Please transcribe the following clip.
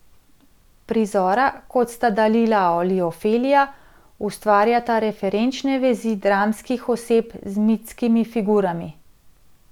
Prizora, kot sta Dalila ali Ofelija, ustvarjata referenčne vezi dramskih oseb z mitskimi figurami.